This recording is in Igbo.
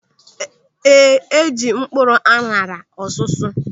Ee, eji mkpụrụ aṅara ọsụsụ.